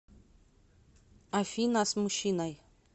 афина с мужчиной